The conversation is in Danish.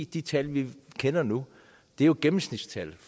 de tal vi kender nu er jo gennemsnitstal